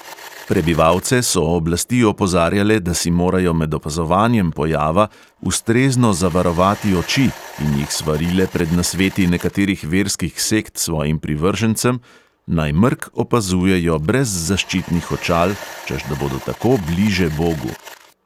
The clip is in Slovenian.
Prebivalce so oblasti opozarjale, da si morajo med opazovanjem pojava ustrezno zavarovati oči, in jih svarile pred nasveti nekaterih verskih sekt svojim privržencem, naj mrk opazujejo brez zaščitnih očal, češ da bodo tako bliže bogu.